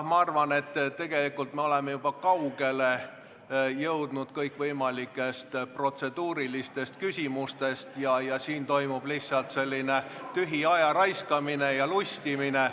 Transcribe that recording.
Ma arvan, et tegelikult me oleme kõikvõimalikest protseduurilistest küsimustest juba kaugele läinud ja siin toimub lihtsalt selline tühi ajaraiskamine ja lustimine.